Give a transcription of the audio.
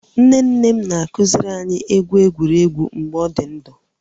Nne nne m na-akuziri anyị egwu egwuregwu mgbe ọ dị ndụ